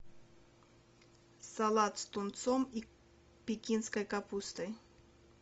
салат с тунцом и пекинской капустой